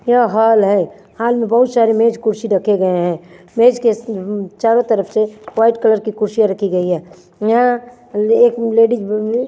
यह हाल है हाल में बहुत सारे मेज कुर्सी रखे गए हैं मेज के चारों तरफ से वाइट कलर की कुर्सियां रखी गई है यहां लएक लेडीज --